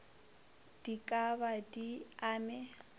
di ka ba di amme